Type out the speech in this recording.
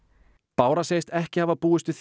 bára segist ekki hafa búist við